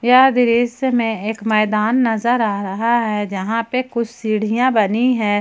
यह दृश्य में एक मैदान नजर आ रहा है जहां पे कुछ सीढ़ियां बनी है।